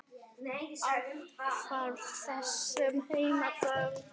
Athvarf þess sem heima dvelst.